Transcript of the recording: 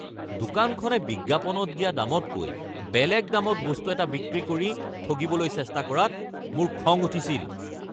দোকানখনে বিজ্ঞাপনত দিয়া দামতকৈ বেলেগ দামত বস্তু এটা বিক্ৰী কৰি ঠগিবলৈ চেষ্টা কৰাত মোৰ খং উঠিছিল। (গ্ৰাহক)